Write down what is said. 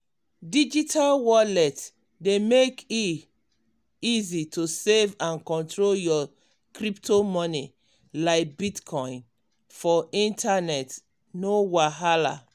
digital wallet dey mek e easy to save and control your crypto money like bitcoin for internet no wahala.